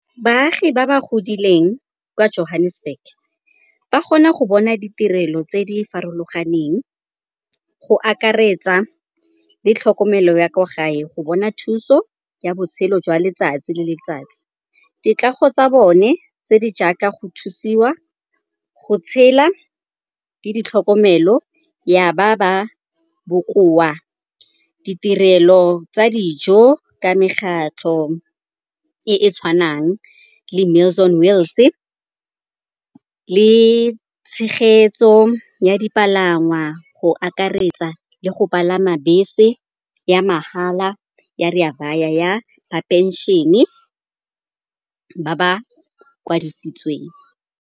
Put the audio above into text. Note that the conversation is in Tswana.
Baagi ba ba godileng kwa Johannesburg ba kgona go bona ditirelo tse di farologaneng go akaretsa le tlhokomelo ya kwa gae go bona thuso ya botshelo jwa letsatsi le letsatsi. Dikago tsa bone tse di jaaka go thusiwa, go tshela le ditlhokomelo ya ba ba bokoa, ditirelo tsa dijo ka megatlho e e tshwanang le Meals on Wheels le tshegetso ya dipalangwa go akaretsa le go palama bese ya mahala ya Rea Vaya ya ba phenšene ba ba kwadisitsweng.